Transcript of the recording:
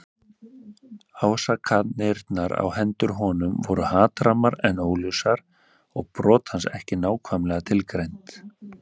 Ásakanirnar á hendur honum voru hatrammar en óljósar og brot hans ekki nákvæmlega tilgreind.